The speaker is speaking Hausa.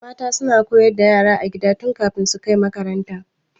Mata suna koyar da yara a gida tun kafin su kai makaranta.